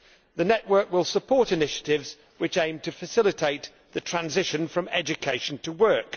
The network will support initiatives which aim to facilitate the transition from education to work.